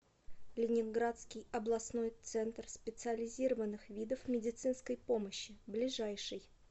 ленинградский областной центр специализированных видов медицинской помощи ближайший